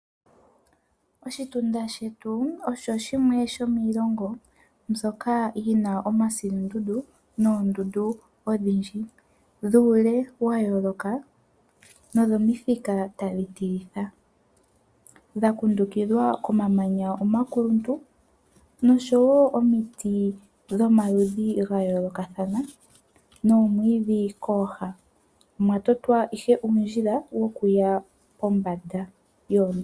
Oshitunda shetu osho shimwe shomiilongo mbyoka yina omasilundundu noondundu odhindji dhuule wayoloka nodhomithika tadhi tilitha . Odha kundukidhwa komamanya omanene oshowo omiti dhomaludhi gayolokathana nomwiidhi kooha . Omwa totwa ihe uundjila wo kuya kombanda yoondundu